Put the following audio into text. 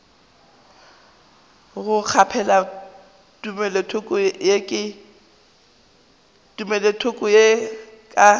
go kgaphela tumelothoko ye ka